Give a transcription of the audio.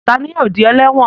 Ta ni yóò di ẹlẹ́wọ̀n?